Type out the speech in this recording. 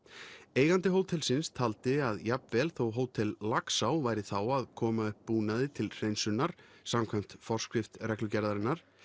eigandi hótelsins taldi að jafnvel þó Hótel Laxá væri þá að koma upp búnaði til hreinsunar samkvæmt forskrift reglugerðarinnar